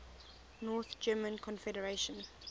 north german confederation